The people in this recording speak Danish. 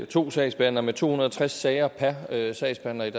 to sagsbehandlere med to hundrede og tres sager per sagsbehandler i